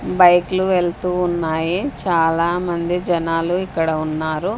బైక్లు వెళ్తూ ఉన్నాయి చాలామంది జనాలు ఇక్కడ ఉన్నారు.